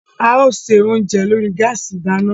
A ó ṣe oúnjẹ lórí gáàsì ìdáná